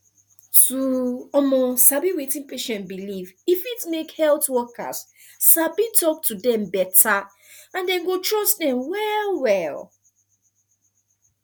to um sabi wetin patient believe e fit make health workers sabi talk to dem beta and dem go trust dem well well